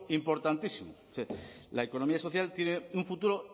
importantísimo la economía social tiene un futuro